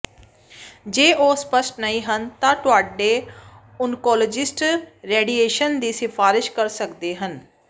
ਜੇ ਉਹ ਸਪੱਸ਼ਟ ਨਹੀਂ ਹਨ ਤਾਂ ਤੁਹਾਡੇ ਓਨਕੋਲੋਜਿਸਟ ਰੇਡੀਏਸ਼ਨ ਦੀ ਸਿਫ਼ਾਰਸ਼ ਕਰ ਸਕਦੇ ਹਨ